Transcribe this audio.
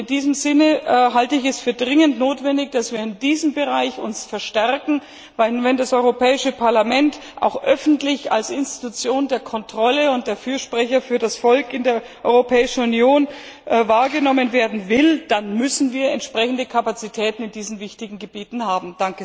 In diesem Sinne halte ich es für dringend notwendig, dass wir uns in diesem Bereich verstärken, denn wenn das Europäische Parlament auch öffentlich als Institution der Kontrolle und als Fürsprecher des Volkes in der Europäischen Union wahrgenommen werden will, dann müssen wir entsprechende Kapazitäten auf diesen wichtigen Gebieten haben.